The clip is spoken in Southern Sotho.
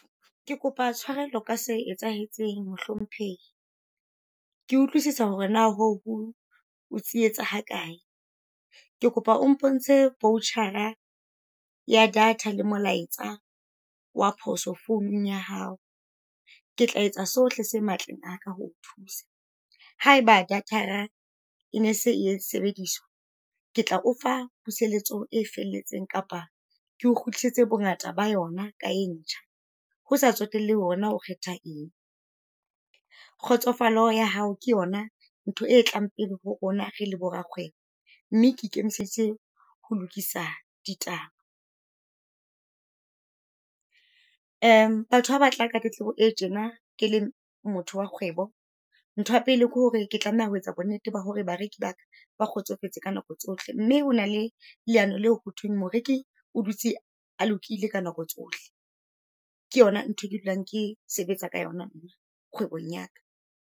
Ke kopa tshwarelo ka se etsahetseng mohlomphehi. Ke utlwisisa hore na hoo ho o tsietsa ha kae, ke kopa o mpontshe voucher-a ya data le molaetsa wa phoso founung ya hao. Ke tla etsa sohle se matleng a ka ho o thusa. Ha eba data-ra e ne se e sebediswa, ke tla o fa puseletso e felletseng kapa keo kgutlisetse bongata ba yona ka e ntjha ho sa tsotellehe hore na o kgetha eng. Kgotsofalo ya hao ke yona ntho e tlang pele ho rona re le borakgwebo, mme ke ikemiseditse ho lokisa ditaba . Batho ha batla ka tletlebo e tjena ke le motho wa kgwebo, ntho ya pele ke hore ke tlameha ho etsa bonnete ba hore bareki ba ka ba kgotsofetse ka nako tsohle. Mme ho na le leano leo ho thweng moreki o dutse a lokile ka nako tsohle, ke yona ntho e ke dulang ke sebetsa ka yona kgwebong ya ka.